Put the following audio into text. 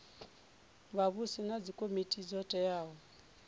vhavhusi na dzikomiti dzo teaho